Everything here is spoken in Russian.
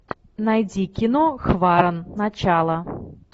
найди кино хваран начало